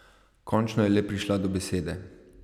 Končno je le prišla do besede.